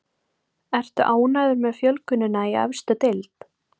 Ertu ánægður með fjölgunina í efstu deild?